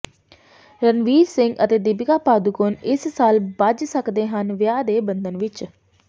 ਰਣਵੀਰ ਸਿੰਘ ਅਤੇ ਦੀਪਿਕਾ ਪਾਦੂਕੋਣ ਇਸ ਸਾਲ ਬੱਝ ਸਕਦੇ ਹਨ ਵਿਆਹ ਦੇ ਬੰਧਨ ਵਿਚ